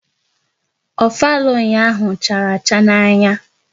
Ofala ụnyaahụ chara acha n'anya